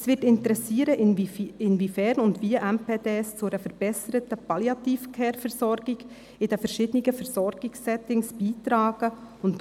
Es wird interessieren, inwiefern und wie MPD zu einer verbesserten Palliative-Care-Versorgung in den verschiedenen Versorgungs-Settings beitragen können.